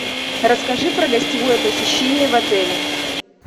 расскажи про гостевое посещение в отеле